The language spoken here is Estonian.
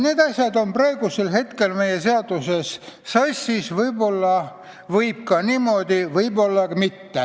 Need asjad on praegu meie seaduses sassis.